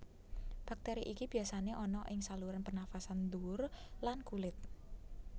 Bakteri iki biyasane ana ing saluran pernafasan dhuwur lan kulit